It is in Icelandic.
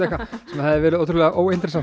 sem hefði verið ótrúlega